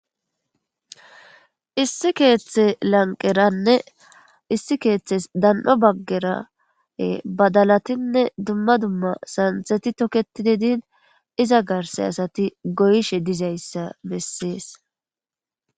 Issi keeththe lanqeranne issi keeththes dan7o baggerae badalatinne dumma dumma saantheti tokketi dedin iza garse asati goyshe dizayssa bessees.